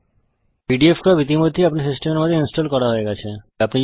pdfcrop ইতিমধ্যেই আমার সিস্টেমের মধ্যে ইনস্টল করা হয়ে গেছে